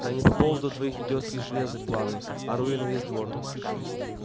да не по поводу твоих идиотских железок планы ору я на весь двор